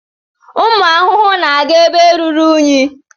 Ụmụ ahụhụ na-aga ebe ruru unyi.